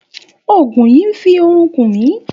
Ògùn yìí n fi orun kùn mi